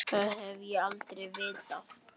Það hef ég aldrei vitað.